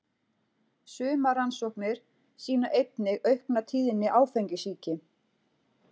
Sumar rannsóknir sýna einnig aukna tíðni áfengissýki.